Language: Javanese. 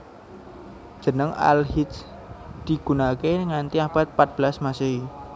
Jeneng Al Hijr digunakake nganti abad pat belas Masehi